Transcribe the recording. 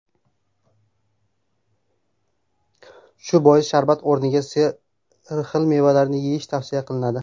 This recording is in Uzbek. Shu bois sharbat o‘rniga sarxil mevalarni yeyish tavsiya qilinadi.